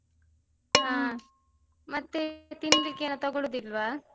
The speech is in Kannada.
ಹ. ಮತ್ತೆ ತಿನ್ಲಿಕ್ಕೆ ಏನು ತಗೋಳುದಿಲ್ವಾ?